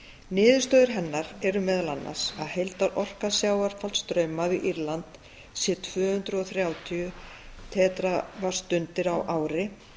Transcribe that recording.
niðurstöður hennar eru meðal annars að heildarorka sjávarfallastraum við írland sé tvö hundruð og þrjátíu tera vattstundir á ári